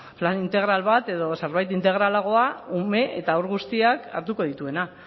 plan integral bat edo zerbait integralagoa ume eta haur guztiak hartuko dituena